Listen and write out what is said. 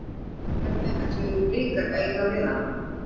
Hvernig ætluðu Blikar að eiga við hana?